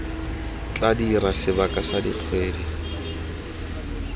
tla dira sebaka sa dikgwedi